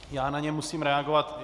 Já na ně musím reagovat.